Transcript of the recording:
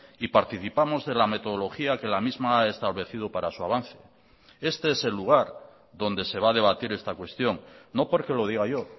y participamos de la metodología que la misma ha establecido para su avance este es el lugar donde se va a debatir esta cuestión no porque lo diga yo